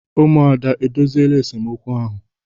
Umuada edoziela esemokwu ahụ?